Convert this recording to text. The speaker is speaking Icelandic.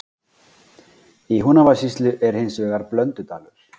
Í Húnavatnssýslu er hins vegar Blöndudalur.